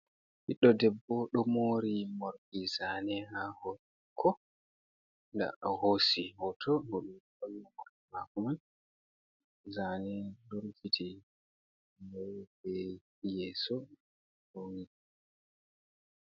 Ɓiɗdo debbo ɗo moori morɗi zaane haa hoore maako o hoosi hooto morɗi maako man, zaane ɗo rufiti bee yeeso ɗo mai.